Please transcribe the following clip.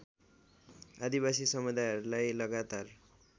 आदिवासी समुदाहरूलाई लगातार